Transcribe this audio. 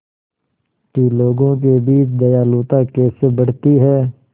कि लोगों के बीच दयालुता कैसे बढ़ती है